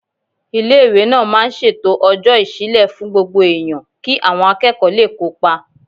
Ilé-ìwé náà máa ń ṣètò Ọ̀jọ́ Ìṣílẹ̀ fún Gbogbo Èèyàn kí àwọn akẹ́kọ̀ọ́ lè kópa